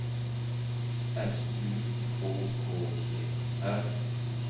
S U K K E R